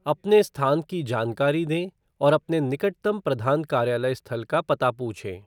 अपने स्थान की जानकारी दें और अपने निकटतम प्रधान कार्यालय स्थल का पता पूछें।